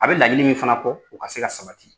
A bɛ laɲini min fana kɔ u ka se ka sabati.